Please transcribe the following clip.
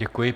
Děkuji.